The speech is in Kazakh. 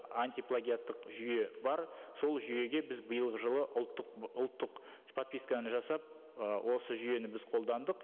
антиплагиаттық жүйе бар сол жүйеге біз биылғы жылы ұлттық ұлттық подписканы жасап ы осы жүйені біз қолдандық